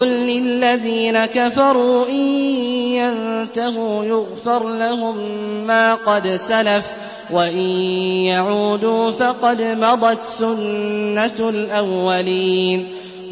قُل لِّلَّذِينَ كَفَرُوا إِن يَنتَهُوا يُغْفَرْ لَهُم مَّا قَدْ سَلَفَ وَإِن يَعُودُوا فَقَدْ مَضَتْ سُنَّتُ الْأَوَّلِينَ